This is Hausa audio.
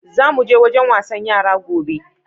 Za mu je wajen wasan yara gobe.